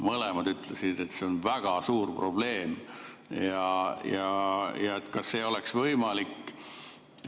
Mõlemad ütlesid, et see on väga suur probleem ja et kas ei oleks võimalik ...